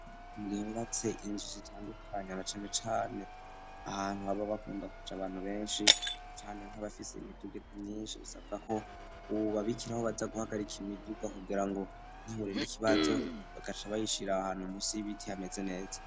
Bubatse inzu zitandukanye na cane cane ahantu haba bakunda kuja abantu benshi cane nkabafise imiduga myinshi isabwa ko uwubabikira aho baza guhagarika imiduga kugira ngo ntihure n'ikibazo bagaca bayishira ahantu munsi y'ibiti hameze neza